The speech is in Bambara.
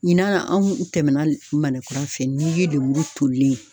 Ɲinan anw tɛmɛna Manɛn kura fɛ, ni ye lemuru tolilen ye.